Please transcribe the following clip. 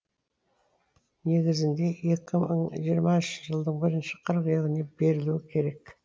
негізінде екі мың жиырмасыншы жылдың бірінші қыркүйегінде берілуі керек